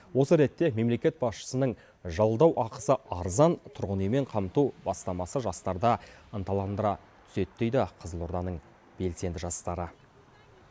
осы ретте мемлекет басшысының жалдау ақысы арзан тұрғын үймен қамту бастамасы жастарды ынталандыра түседі дейді қызылорданың белсенді жастары